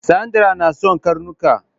Sandra na son karnuka